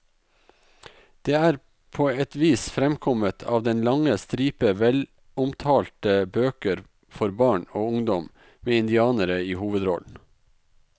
Det er på et vis fremkommet av den lange stripe velomtalte bøker for barn og ungdom med indianere i hovedrollen.